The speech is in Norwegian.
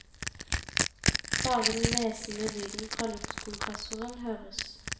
Bare den hvesende lyden fra luftkompressoren høres.